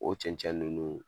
O cɛncɛn ninnu